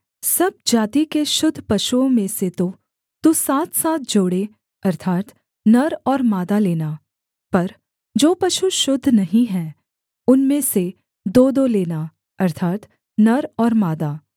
सब जाति के शुद्ध पशुओं में से तो तू सातसात जोड़े अर्थात् नर और मादा लेना पर जो पशु शुद्ध नहीं हैं उनमें से दोदो लेना अर्थात् नर और मादा